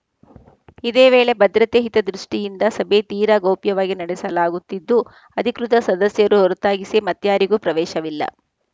ಇದೇವೇಳೆ ಭದ್ರತೆ ಹಿತದೃಷ್ಟಿಯಿಂದ ಸಭೆ ತೀರ ಗೌಪ್ಯವಾಗಿ ನಡೆಸಲಾಗುತ್ತಿದ್ದು ಅಧಿಕೃತ ಸದಸ್ಯರು ಹೊರತಾಗಿಸಿ ಮತ್ಯಾರಿಗೂ ಪ್ರವೇಶವಿಲ್ಲ